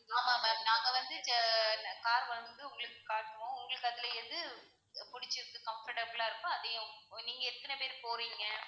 ஆமா ma'am நாங்க வந்து ஆஹ் car வந்து உங்களுக்கு வந்து காட்டுவோம், உங்களுக்கு அதுல எது புடிச்சுருக்கு comfortable லா இருக்கோ அதையும் நீங்க எத்தன பேரு போறீங்க,